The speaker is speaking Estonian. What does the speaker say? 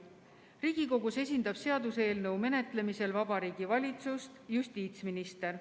Riigikogus esindab seaduseelnõu menetlemisel Vabariigi Valitsust justiitsminister.